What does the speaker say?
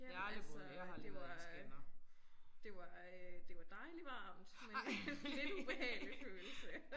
Ja altså øh det var det var øh det var dejlig varmt men lidt ubehagelig følelse